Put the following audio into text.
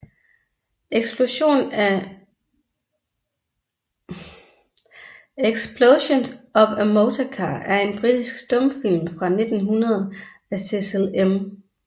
Explosion of a Motor Car er en britisk stumfilm fra 1900 af Cecil M